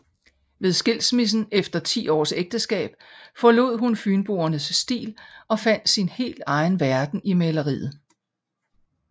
Ved skilsmissen efter 10 års ægteskab forlod hun fynboernes stil og fandt sin helt egen verden i maleriet